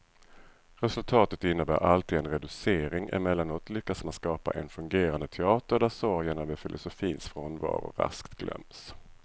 Resultatet innebär alltid en reducering, emellanåt lyckas man skapa en fungerande teater där sorgen över filosofins frånvaro raskt glöms.